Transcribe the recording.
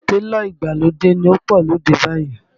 Télọ̀ ìgbàlódé ló pọ̀ lóde báyìí